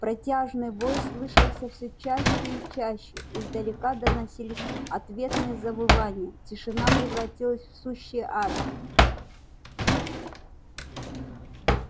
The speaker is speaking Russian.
протяжный вой слышался всё чаще и чаще издалека доносились ответные завывания тишина превратилась в сущий ад